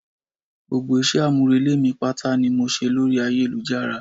Gbogbo ìṣe àmúrelé mi pátá ni mo ṣe lórí ayélujára